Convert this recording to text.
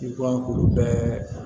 I ko an k'olu bɛɛ